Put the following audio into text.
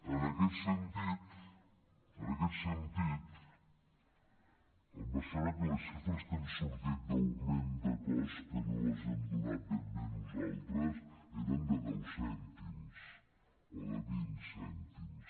en aquest sentit em sembla que les xifres que han sortit d’augment de cost que no les hem donat ben bé nosaltres eren de deu cèntims o de vint cèntims